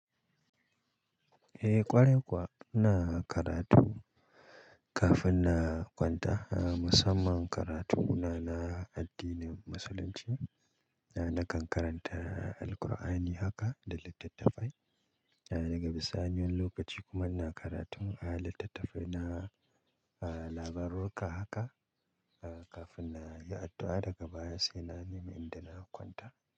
Eh ƙwarai kuwa, ina karatu kafin na kwanta. Musamman karatu na, na addinin Musulunci. Nakan karanta Alkur'ani haka da littattafai. Daga bisani wani lokaci kuma ina karatun littattafai na labarurruka haka, kafin na yi addu'a daga baya sai na nemi inda na kwanta.